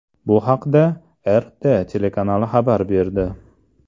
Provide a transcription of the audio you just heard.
Bu haqda RT telekanali xabar berdi .